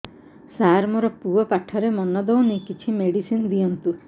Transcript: ସାର ମୋର ପୁଅ ପାଠରେ ମନ ଦଉନି କିଛି ମେଡିସିନ ଦିଅନ୍ତୁ